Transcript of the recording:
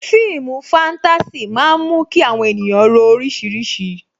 Fíìmù fatasi máa ń mú kí àwọn ènìyàn ro orísìírísìí